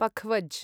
पखवज्